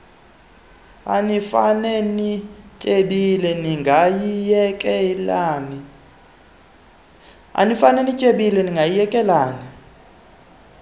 anifane nityebile ndingayiyekelani